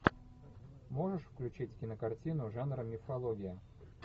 можешь включить кинокартину жанра мифология